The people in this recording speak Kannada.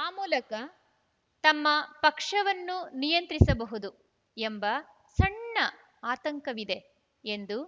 ಆ ಮೂಲಕ ತಮ್ಮ ಪಕ್ಷವನ್ನು ನಿಯಂತ್ರಿಸಬಹುದು ಎಂಬ ಸಣ್ಣ ಆತಂಕವಿದೆ ಎಂದು